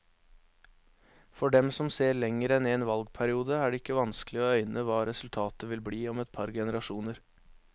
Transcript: For dem som ser lenger enn en valgperiode, er det ikke vanskelig å øyne hva resultatet vil bli om et par generasjoner.